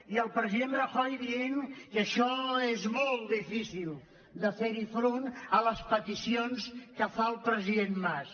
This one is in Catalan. i el president rajoy dient que això és molt difícil de fer·hi front a les peticions que fa el president mas